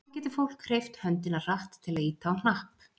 Hvað getur fólk hreyft höndina hratt til að ýta á hnapp?